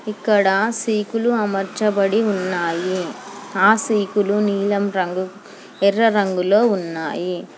ఇక్కడ సీకులు అమర్చబడి ఉన్నాయి ఆ సీకులు నీలం రంగు ఎర్ర రంగులో ఉన్నాయి.